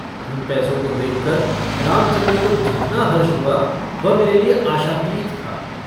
उन पैसों को देखकर रामचन्द्र को जितना हर्ष हुआ वह मेरे लिए आशातीत था।